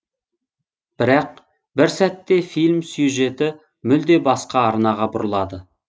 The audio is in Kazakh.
бірақ бір сәтте фильм сюжеті мүлде басқа арнаға бұрылады